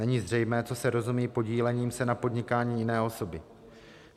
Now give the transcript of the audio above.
Není zřejmé, co se rozumí podílením se na podnikání jiné osoby.